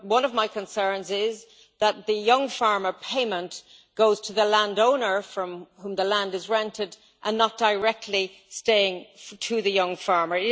One of my concerns is that the young farmer payment goes to the landowner from whom the land is rented and not directly to the young farmer.